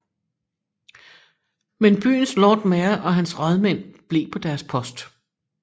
Men byens Lord Mayor og hans rådmænd blev på deres post